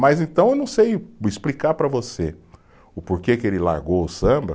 Mas então eu não sei explicar para você o porquê que ele largou o samba.